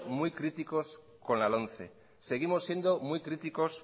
muy críticos con la lomce seguimos siendo muy críticos